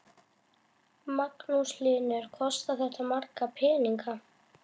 Magnús Hlynur: Kostar þetta marga peninga?